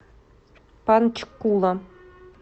панчкула